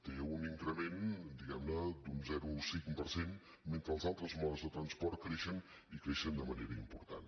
té un increment d’un zero coma cinc per cent mentre que els altres modes de transport creixen i creixen de manera important